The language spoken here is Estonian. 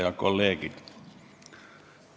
Head kolleegid!